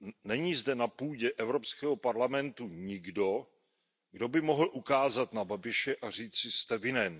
Není zde na půdě Evropského parlamentu nikdo, kdo by mohl ukázat na Babiše a říci Jste vinen.